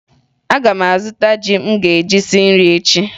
Aga m azụta ji m ga-eji sie nri echi